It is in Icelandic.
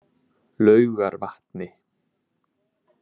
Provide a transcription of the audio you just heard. Laugarvatni